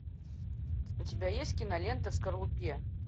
у тебя есть кинолента в скорлупе